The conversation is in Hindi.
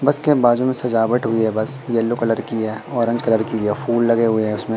बस के बाजू में सजावट हुई है बस येलो कलर की है ऑरेंज कलर की है फूल लगे हुए हैं उसमें।